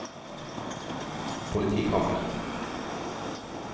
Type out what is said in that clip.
politikammer